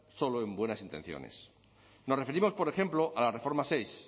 solo en buenas intenciones nos referimos por ejemplo a la reforma seis